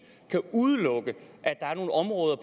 kan udelukke at der er nogle områder